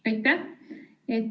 Aitäh!